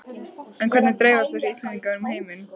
En hvernig dreifast þessi Íslendingar um heiminn?